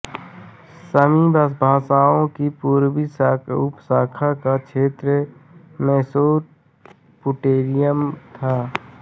सामी भाषाओं की पूर्वी उपशाखा का क्षेत्र मेसोपोटेमिया था